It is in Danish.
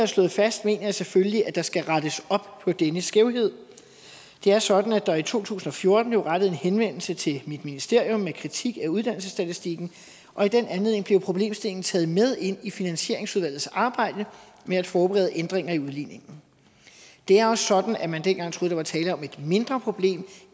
slået fast mener jeg selvfølgelig at der skal rettes op på denne skævhed det er sådan at der i to tusind og fjorten blev rettet en henvendelse til mit ministerium med kritik af uddannelsesstatistikken og i den anledning blev problemstillingen taget med ind i finansieringsudvalgets arbejde med at forberede ændringer i udligningen det er også sådan at man dengang troede at der var tale om et mindre problem